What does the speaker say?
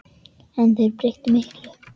En þeir breyttu miklu.